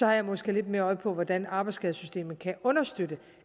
har jeg måske lidt mere øje for hvordan arbejdsskadesystemet kan understøtte